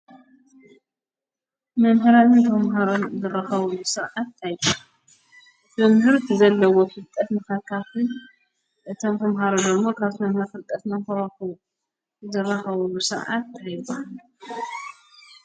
መምህራን ተማሃሮን ዝራከብሉ ስርዓት እንታይ ይበሃል? መምህር ዘለዎ ፍልጠት ንከካፍል እቶም ተማሃሮ ድማ ካብቲ መምህር ፍልጠት ንክረክቡ ዝራከብሉ ስርዓት እንታይ ይበሃል?